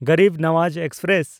Garib Nawaz express